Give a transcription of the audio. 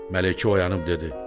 Mələkə oyanıb dedi: